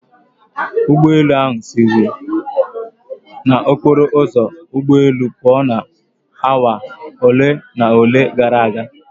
Ụgbọelu ahụ siri n'okporo ụzọ ụgbọelu pụo na awa ole na ole gara aga.